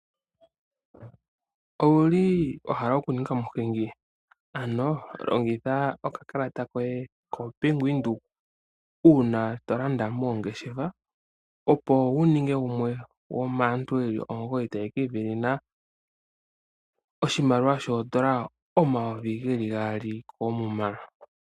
Owuli wahala oku ninga omuhingi? Ano longitha oka kalata koye kOmbaanga yaVenduka uuna to landa moongeshefa. Opo wu ninge gumwe gomaantu yeli omugoyi taya ka ivenena oshimaliwa shoondola omayovi geli gaali koomuma.